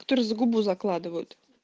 за губу закладывают